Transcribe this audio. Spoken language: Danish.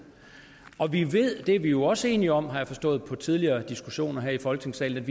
og vi ved det er vi jo også enige om har jeg forstået på tidligere diskussioner i folketingssalen